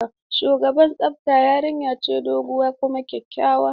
Shugaban tsaftar yarinya ce doguwa kuma kyakkyawa.